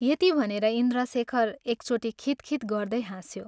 " यति भनेर इन्द्रशेखर एकचोटि खित्खित् गर्दै हाँस्यो।